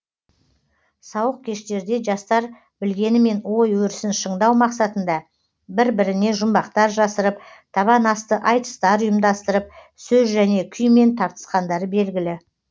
сауық кештерде жастар білгенімен ой өрісін шыңдау мақсатында бір біріне жұмбақтар жасырып табан асты айтыстар ұйымдастырып сөз және күймен тартысқандары белгілі